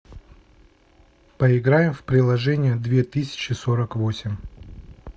поиграем в приложение две тысячи сорок восемь